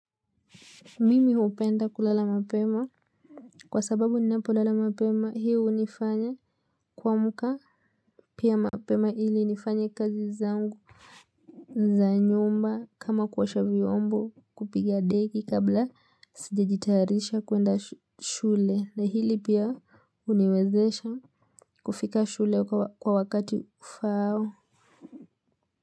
Mimi upenda kulala mapema. Kwa sababu ninapolala mapema hii unifanya kuamka pia mapema ili nifanye kazi zangu za nyumba kama kuosha vyombo kupiga deki kabla sijejitayarisha kuenda shule na hili pia huniwezesha kufika shule kwa wakati ufaao. Kwa hivyo.